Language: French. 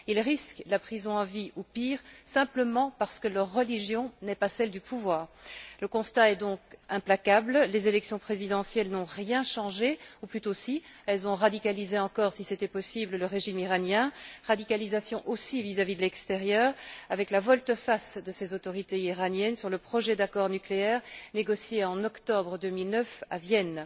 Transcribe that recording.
Ils risquent la prison à vie ou pire, simplement parce que leur religion n'est pas celle du pouvoir. Le constat est donc implacable, les élections présidentielles n'ont rien changé, ou plutôt si, elles ont radicalisé encore, si c'était possible, le régime iranien, radicalisation aussi vis à vis de l'extérieur, avec la volte face de ces autorités iraniennes sur le projet d'accord nucléaire négocié en octobre 2009 à Vienne.